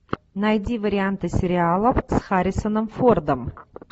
найди варианты сериалов с харрисоном фордом